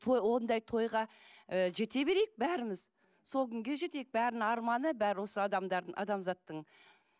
ондай тойға ы жете берейік бәріміз сол күнге жетейік бәрінің арманы бәрі осы адамдардың адамзаттың